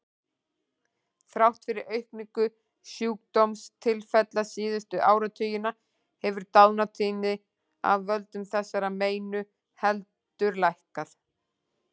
Þrátt fyrir aukningu sjúkdómstilfella síðustu áratugina hefur dánartíðni af völdum þessara meina heldur lækkað.